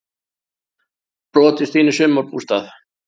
Brotist inn í sumarbústað